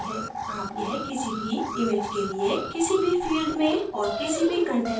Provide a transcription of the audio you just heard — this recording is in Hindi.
आप यह किसी भी image के लिए किसी भी field में औऱ किसी भी कंटेंट में कर सकते हैं